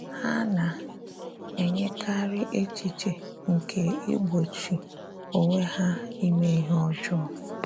Ha na - enyekarị echiche nke igbochi onwe ha ime ihe ọjọọ.